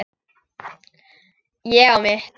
Ég á mitt.